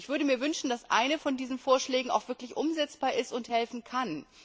Ich würde mir wünschen, dass einer von diesen Vorschlägen auch wirklich umsetzbar ist und helfen kann.